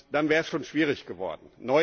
Dann wäre es schon schwierig geworden.